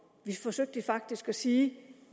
vi forsøgte faktisk at sige